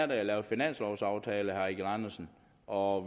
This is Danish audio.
det at lave finanslovaftale og